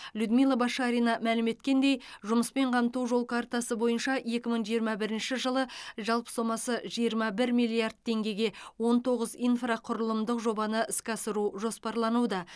людмила башарина мәлім еткендей жұмыспен қамту жол картасы бойынша екі мың жиырма бірінші жылы жалпы сомасы жиырма бір миллиард теңгеге он тоғыз инфрақұрылымдық жобаны іске асыру жоспарлануда